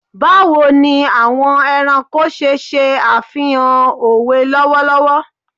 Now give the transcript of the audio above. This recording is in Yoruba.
Bawo ni awọn ẹranko ṣe ṣe afihan owe lọwọlọwọ